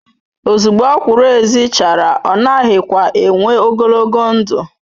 ozugbo okwuru ezi chara o naghi kwa enww ogologo ndu